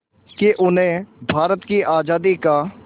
कि उन्हें भारत की आज़ादी का